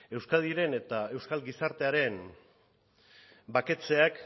euskadiren eta euskal gizartearen baketzeak